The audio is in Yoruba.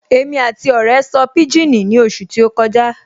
Èmi àti ọ̀rẹ́ sọ pijini ní oṣù tí ó kọjá